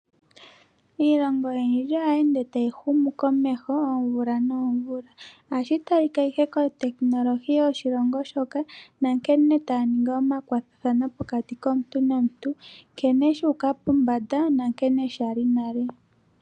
Iilongo oyindji ohayi ende tayi humu komeho oomvula noomvula, ohashi talika ihe kotekinolohi yoshilongo shoka, nankene taya ningi omakwatathano pokati komuntu nomuntu. Nkene sha uka pombanda na nkene shali nale.